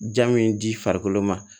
Ja min di farikolo ma